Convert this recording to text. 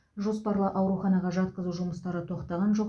жоспарлы ауруханаға жатқызу жұмыстары тоқтаған жоқ